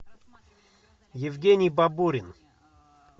евгений бабурин